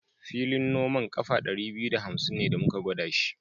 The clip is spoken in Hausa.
Filin noman ƙafa ɗari biyu da hamsin ne da muka gwada shi.